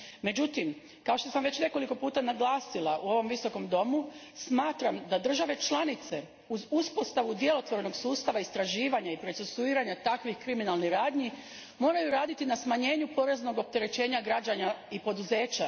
Međutim, kao što sam već nekoliko puta naglasila u ovom visokom domu, smatram da države članice uz uspostavu djelotvornog sustava istraživanja i procesuiranja takvih kriminalnih radnji moraju raditi na smanjenju poreznog opterećenja građana i poduzeća.